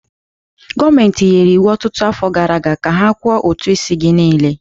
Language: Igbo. Gọọmentị nyere iwu ọtụtụ afọ gara aga ka ha kwụọ ụtụ isi gị niile!